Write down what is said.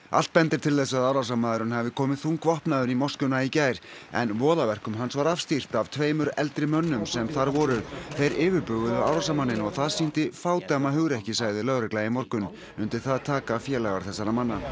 allt bendir til þess að árásarmaðurinn hafi komið þungvopnaður í moskuna í gær en voðaverkum hans var afstýrt af tveimur eldri mönnum sem þar voru þeir yfirbuguðu árásarmanninn og það sýndi fádæma hugrekki sagði lögregla í morgun undir það taka félagar þessara manna